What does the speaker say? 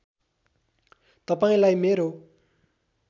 तपाईँलाई मेरो